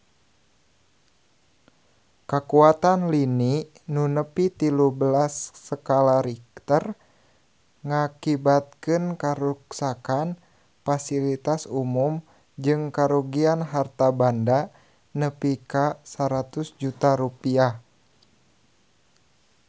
Kakuatan lini nu nepi tilu belas skala Richter ngakibatkeun karuksakan pasilitas umum jeung karugian harta banda nepi ka 100 juta rupiah